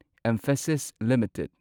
emphasis limited